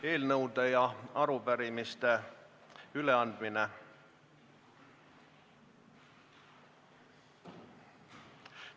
Eelnõude ja arupärimiste üleandmine.